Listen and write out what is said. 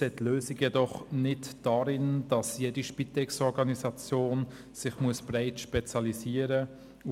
Wir sehen die Lösung jedoch nicht darin, dass jede Spitex-Organisation sich breit ausrichten muss.